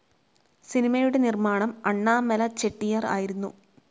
സിനിമയുടെ നിർമാണം അണ്ണാമല ചെട്ടിയാർ ആയിരുന്നു.